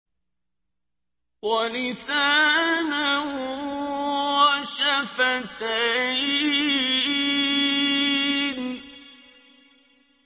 وَلِسَانًا وَشَفَتَيْنِ